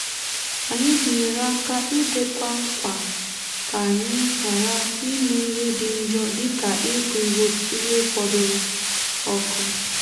anyị binyere áká ídekwá nkwà ka anyị ghara ime ihe dị njọ dịka ịkụ ihe fọdụrụ ọkụ.